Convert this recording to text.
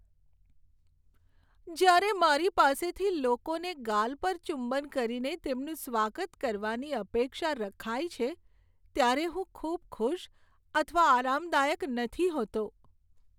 જ્યારે મારી પાસેથી લોકોને ગાલ પર ચુંબન કરીને તેમનું સ્વાગત કરવાની અપેક્ષા રખાય છે ત્યારે હું ખૂબ ખુશ અથવા આરામદાયક નથી હોતો.